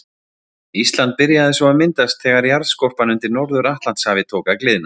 Ísland byrjaði svo að myndast þegar jarðskorpan undir Norður-Atlantshafi tók að gliðna.